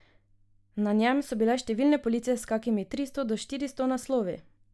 Na njem so bile številne police s kakimi tristo do štiristo naslovi.